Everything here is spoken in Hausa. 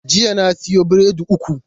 Jiya na siyo biredi uku.